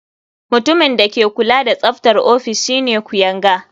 Mutumin da ke kula da tsaftar ofis shine kuyanga.